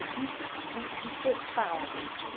É bi bu buffet que fala, isso.